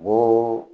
Ko